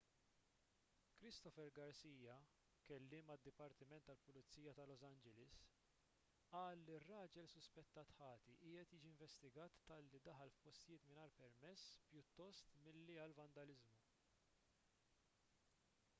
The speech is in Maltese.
christopher garcia kelliem għad-dipartiment tal-pulizija ta' los angeles qal li r-raġel suspettat ħati qiegħed jiġi investigat talli daħal f'postijiet mingħajr permess pjuttost milli għal vandaliżmu